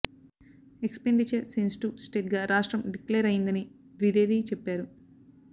expenditure sensitive state గా రాష్ట్రం declare అయ్యిందని ద్వివేది చెప్పారు